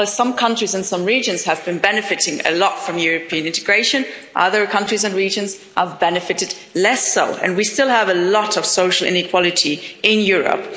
While some countries and regions have been benefiting a lot from European integration, other countries and regions have benefited less, and we still have a lot of social inequality in Europe.